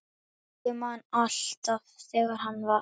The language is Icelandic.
Ég man alltaf þegar hann